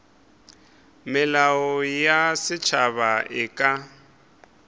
melao ya setšhaba e ka